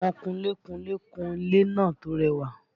Àwọn kunlé kunlé kun ilé náà tó rẹwà